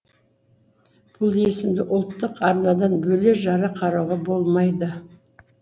бұл есімді ұлттық арнадан бөле жара қарауға болмайды